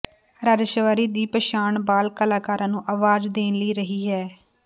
ਰਾਜੇਸ਼ਵਰੀ ਦੀ ਪਛਾਣ ਬਾਲ ਕਲਾਕਾਰਾਂ ਨੂੰ ਅਵਾਜ਼ ਦੇਣ ਲਈ ਰਹੀ ਹੈ